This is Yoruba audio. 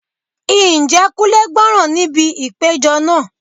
Ǹjẹ́ Kunle gbọ́ràn níbi ìpéjọ náà?